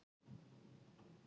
Eiður áfram á bekknum í kvöld